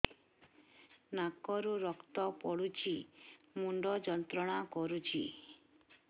ନାକ ରୁ ରକ୍ତ ପଡ଼ୁଛି ମୁଣ୍ଡ ଯନ୍ତ୍ରଣା କରୁଛି